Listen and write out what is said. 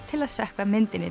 til að sökkva myndinni